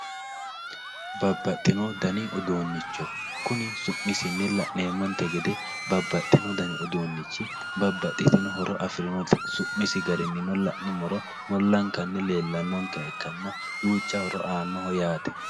Baabaaxino daanni uddunicho kuunni su'misinni la'nemintte geede baabaaxino daanni uddunichi baabaaxitino hooro afirinotti suumissi gaarinnino la'numorono muulankanni leelanonkeha ikkanna duuchcha hooro anoho yaatte